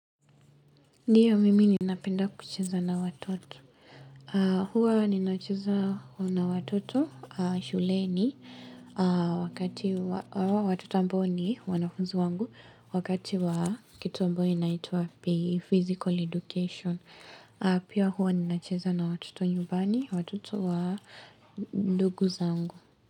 Ndiyo, mimi ninapenda kucheza na watoto. Hua ninacheza na watoto shuleni, watoto ambao ni wanafunzi wangu, wakati wa kitu ambayo inaitwa P.E (physical education). Pia huwa ninacheza na watoto nyumbani, watoto wa ndugu zangu.